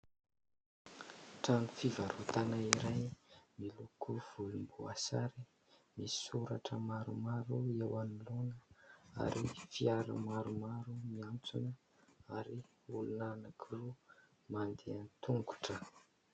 Trano fivarotana iray miloko volom-bosary misy soratra maromaro eo anoloana , ary fiara maromaro miantsona , ary olona anankiroa mandeha tongotra